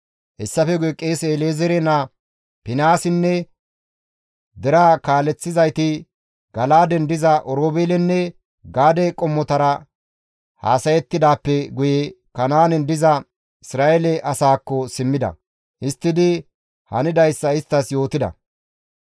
Hessafe guye qeese El7ezeere naa Finihaasinne deraa kaaleththizayti Gala7aaden diza Oroobeelenne Gaade qommotara haasayettidaappe guye Kanaanen diza Isra7eele asaakko simmida; histtidi hanidayssa isttas yootida.